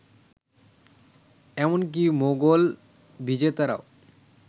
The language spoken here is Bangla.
এমনকি মোগল বিজেতারা